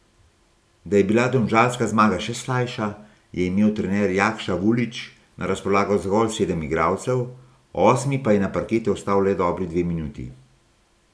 Da je bila domžalska zmaga še slajša, je imel trener Jakša Vulić na razpolago zgolj sedem igralcev, osmi pa je na parketu ostal le dobri dve minuti.